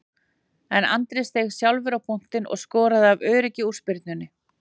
En Andri steig sjálfur á punktinn og skoraði af öryggi úr spyrnunni.